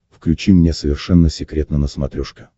включи мне совершенно секретно на смотрешке